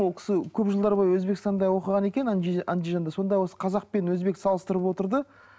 ол кісі көп жылдар бойы өзбекстанда оқыған екен сонда осы қазақ пен өзбекті салыстырып отырды